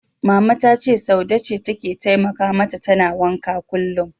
Mama ta ce Saude ce take taimaka mata tana wankan kullum.